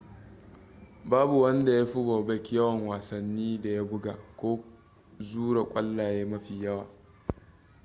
babu wanda ya fi bobek yawan wasannin da ya buga ko zura kwallaye mafi yawa